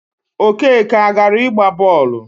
Okeke agara ịgba bọọlụ?